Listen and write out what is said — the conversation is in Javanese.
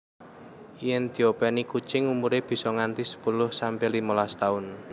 Yen diopèni kucing umuré bisa nganti sepuluh sampe limolas taun